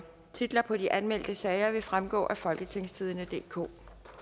titler på de anmeldte sager vil fremgå af folketingstidende DK